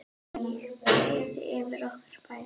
Ég breiði yfir okkur bæði.